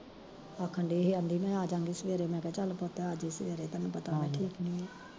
ਆਖਣ ਡਈ ਸੀ ਕਹਿੰਦੀ ਮੈਂ ਅਜਾਗੀ ਸਵੇਰੇ ਮੈਂ ਕਿਹਾ ਚੱਲ ਪੁੱਤ ਆਜੀ ਸਵੇਰੇ ਤੈਨੂੰ ਪਤਾ ਮੈਂ ਠੀਕ ਨੀ ਐ